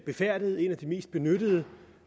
befærdede en af de mest benyttede